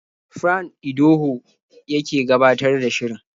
Fran Idoho yake gabatar da shirin.